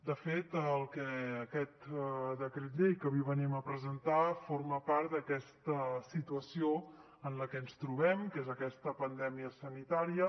de fet el que aquest decret llei que avui venim a presentar forma part d’aquesta situació en la que ens trobem que és aquesta pandèmia sanitària